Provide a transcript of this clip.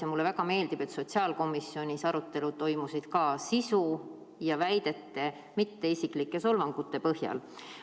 Ja mulle väga meeldib, et ka sotsiaalkomisjoni arutelud toimusid sisu ja väidete, mitte isiklike solvangute põhjal.